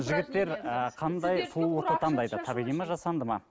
жігіттер ы қандай сұлулықты таңдайды табиғи ма жасанды ма